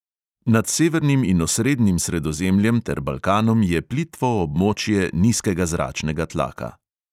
Nad severnim in osrednjim sredozemljem ter balkanom je plitvo območje nizkega zračnega tlaka.